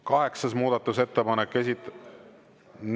Kaheksas muudatusettepanek, esit…